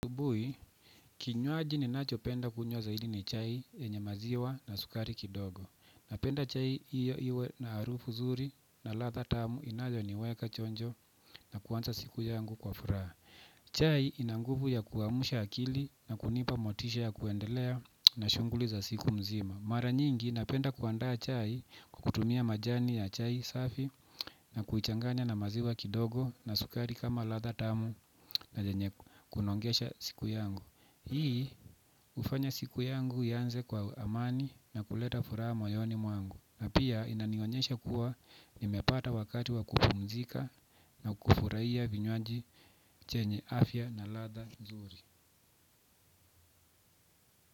Bui, kinywaji ninacho penda kunywa zaidi ni chai yenye maziwa na sukari kidogo. Napenda chai iyo iwe na harufu zuri na ladha tamu inayo niweka chonjo na kuanza siku yangu kwa furaha. Chai ina nguvu ya kuamusha akili na kunipa motisha ya kuendelea na shunguli za siku mzima. Mara nyingi, napenda kuandaa chai kwa kutumia majani ya chai safi. Na kuichanganya na maziwa kidogo na sukari kama ladha tamu na yenye kunongesha siku yangu hii hufanya siku yangu ianze kwa amani na kuleta furaha mayoni mwangu. Na pia inanionyesha kuwa nimepata wakati wa kupumzika na kufurahia vinywaji chenye afya na latha zuri.